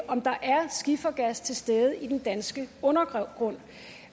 om der er skifergas til stede i den danske undergrund